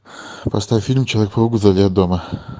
поставь фильм человек паук вдали от дома